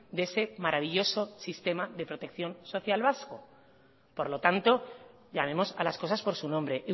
de ese maravilloso sistema de protección social vasco por lo tanto llamemos a las cosas por su nombre